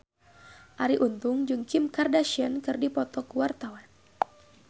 Arie Untung jeung Kim Kardashian keur dipoto ku wartawan